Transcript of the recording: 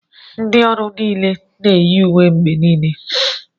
Ndị ọrụ niile na-eyi uwe mgbe niile